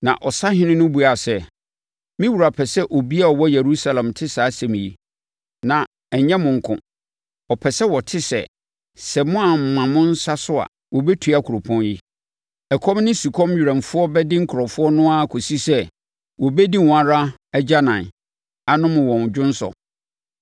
Na ɔsahene no buaa sɛ, “Me wura pɛ sɛ obiara a ɔwɔ Yerusalem te saa asɛm yi, na ɛnyɛ mo nko. Ɔpɛ sɛ wɔte sɛ, sɛ moamma mo nsa so a, wɔbɛtua kuropɔn yi. Ɛkɔm ne sukɔm werɛmfoɔ bɛde nkurɔfoɔ no ara kɔsi sɛ, wɔbɛdi wɔn ara agyanan, anom wɔn dwonsɔ.”